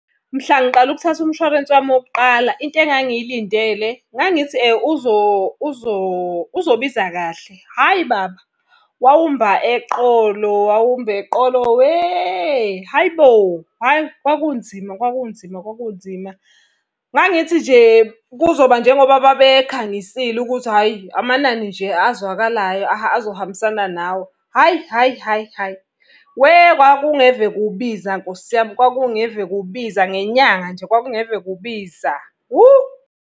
Mhla ngiqala ukuthatha umshwarensi wami wokuqala into engangilindele ngangithi uzobiza kahle. Hhayi baba! Wawumba eqolo, wawumba eqolo we, hhayi bo! Hhayi kwakunzima kwakunzima kwakunzima. Ngangithi nje kuzoba njengoba babe khangisile ukuthi hhayi amanani nje azwakalayo azohambisana nawe. Hhayi hhayi hhayi hhayi, weh, kwakungeve kubiza Nkosi yami, kwakungeve kubiza ngenyanga nje, kwakungeve kubiza, whoo.